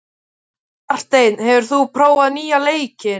Marteinn, hefur þú prófað nýja leikinn?